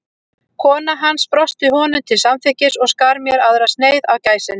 Kona hans brosti honum til samþykkis og skar mér aðra sneið af gæsinni.